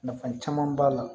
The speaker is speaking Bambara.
Nafa caman b'a la